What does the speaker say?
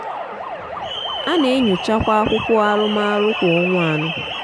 a na-enyochakwa akwụkwọ arụmọrụ kwa ọnwa anọ.